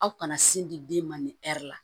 Aw kana sin di den ma nin ɛri la